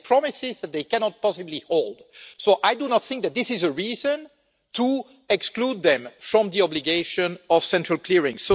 They made promises that they cannot possibly hold. I do not think that this is a reason to exclude them from the obligation of central clearing.